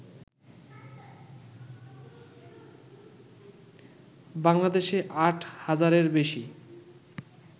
বাংলাদেশে আট হাজারের বেশি